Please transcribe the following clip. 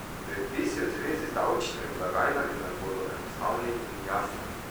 Predpisi v zvezi z davčnimi blagajnami naj bodo enostavni in jasni.